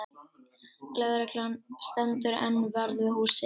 Lögreglan stendur enn vörð við húsið